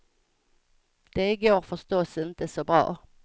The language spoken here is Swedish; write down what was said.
Det går förstås inte så bra.